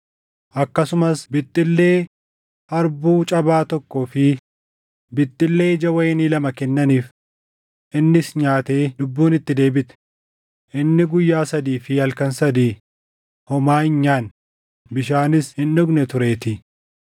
Akkasumas bixxillee harbuu cabaa tokkoo fi bixxillee ija wayinii lama kennaniif. Innis nyaatee lubbuun itti deebite; inni guyyaa sadii fi halkan sadii homaa hin nyaanne, bishaanis hin dhugne tureetii.